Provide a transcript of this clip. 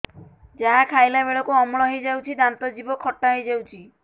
ଯାହା ଖାଇଲା ବେଳକୁ ଅମ୍ଳ ହେଇଯାଉଛି ଦାନ୍ତ ଜିଭ ଖଟା ହେଇଯାଉଛି